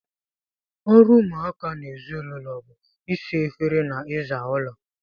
Ọrụ ụmụaka n'ezinaulo bú ịsa efere na iza ụlọ.